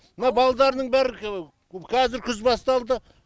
мына балдарының бәрі қазір күз басталды